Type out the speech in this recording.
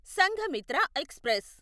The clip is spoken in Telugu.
సంఘమిత్ర ఎక్స్ప్రెస్